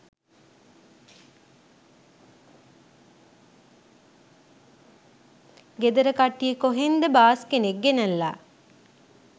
ගෙදර කට්ටිය කොහෙන් ද බාස් කෙනෙක් ගෙනැල්ල